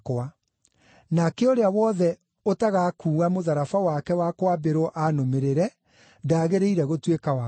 nake ũrĩa wothe ũtagakuua mũtharaba wake wa kwambĩrwo aanũmĩrĩre ndagĩrĩire gũtuĩka wakwa.